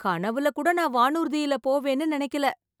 கனவுல கூட நா வானூர்தியில போவேன் நினைக்கல